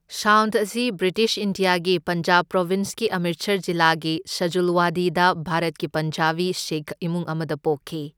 Sound ꯑꯁꯤ British ꯏꯟꯗꯤꯌꯥꯒꯤ ꯄꯟꯖꯥꯕ ꯄ꯭ꯔꯣꯚꯤꯟꯁꯀꯤ ꯑꯝꯔꯤꯠꯁꯔ ꯖꯤꯂꯥꯒꯤ ꯁꯖꯨꯜꯋꯥꯗꯤꯗ ꯚꯥꯔꯠꯀꯤ ꯄꯟꯖꯥꯕꯤ ꯁꯤꯈ ꯏꯃꯨꯡ ꯑꯃꯗ ꯄꯣꯛꯈꯤ꯫